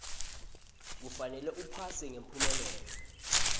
kufanele uphase ngemphumelelo